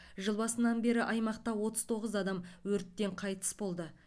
жыл басынан бері аймақта отыз тоғыз адам өрттен қайтыс болды